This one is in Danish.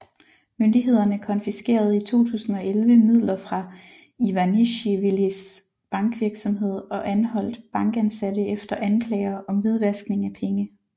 Myndighederne konfiskerede i 2011 midler fra Ivanisjvilis bankvirksomhed og anholdt bankansatte efter anklager om hvidvaskning af penge